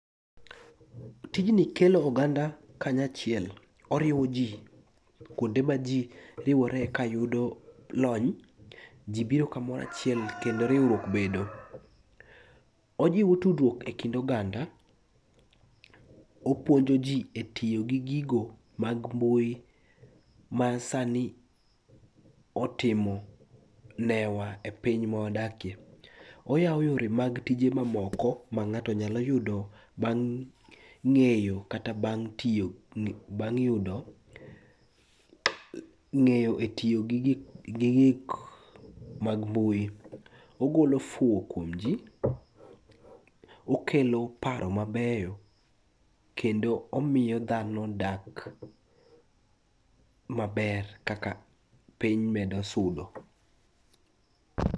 Tijni kelo oganda kanyachiel, oriwo ji kuonde ma ji riwore kayudo lony, ji biro kamoro achiel kendo riwruok bedo. Ojiwo tudruok e kind oganda, opuonjo ji e tiyo gi gigo mag mbui ma sani otimo newa e piny mawadakie, oyawo yore mag tije mamoko ma ng'ato nyalo yudo bang' ng'eyo kata bang' yudo ng'eyo e tiyo gi gik mag mbui, ogolo fuwo kuom ji, okelo paro mabeyo kendo omiyo dhano dak maber kaka piny medo sudo.